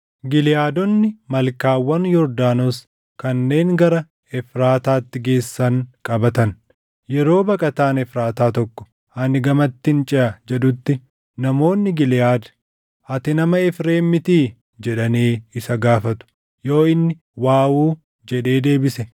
Giliʼaadonni malkaawwan Yordaanos kanneen gara Efraataatti geessan qabatan; yeroo baqataan Efraataa tokko, “Ani gamattin ceʼa” jedhutti, namoonni Giliʼaad, “Ati nama Efreem mitii?” jedhanii isa gaafatu. Yoo inni, “Waawuu” jedhee deebise,